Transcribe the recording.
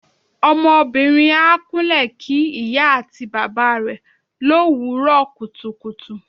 Ọmọbìnrin á kúnle kí ìyá àti bàbá rẹ l'òwúrò kùtùkùtù.